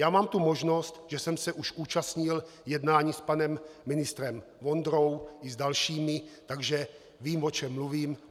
Já mám tu možnost, že jsem se už účastnil jednání s panem ministrem Vondrou i s dalšími, takže vím, o čem mluvím.